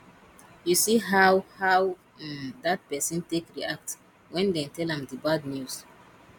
you see how how um dat person take react wen dem tell am di bad news